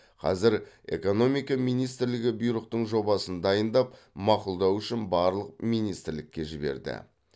қазір экономика министрлігі бұйрықтың жобасын дайындап мақұлдау үшін барлық министрлікке жіберді